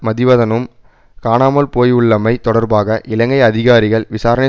மதிவதனும் காணாமல் போயுள்ளமை தொடர்பாக இலங்கை அதிகாரிகள் விசாரணை